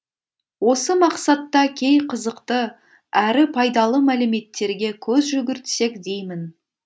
осы мақсатта кей қызықты әрі пайдалы мәліметтерге көз жүгіртсек деймін